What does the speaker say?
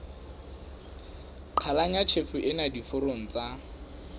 qhalanya tjhefo ena diforong tsa